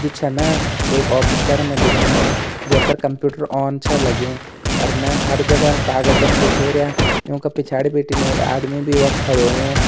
जु छ ना एक ऑफिस करना दिखेणु जै पर कंप्यूटर ऑन छ लग्युं अर न हर जगह कागजन बिखेरया यूँका पिछाड़ी बिटिन एक आदमी भी वख खड़ो होयुं।